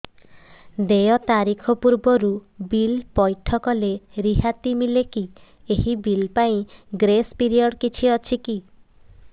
ଦେୟ ତାରିଖ ପୂର୍ବରୁ ବିଲ୍ ପୈଠ କଲେ ରିହାତି ମିଲେକି ଏହି ବିଲ୍ ପାଇଁ ଗ୍ରେସ୍ ପିରିୟଡ଼ କିଛି ଅଛିକି